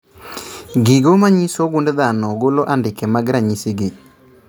Gigo manyiso gund dhano golo andike mag ranyisi gi